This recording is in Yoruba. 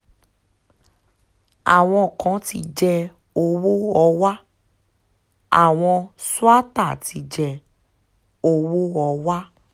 àwọn kan ti jẹ owó họwá àwọn swater ti jẹ́ owó họwà